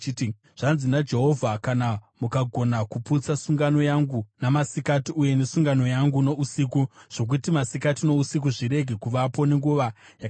“Zvanzi naJehovha: ‘Kana mukagona kuputsa sungano yangu namasikati uye nesungano yangu nousiku, zvokuti masikati nousiku zvirege kuvapo nenguva yakatarwa,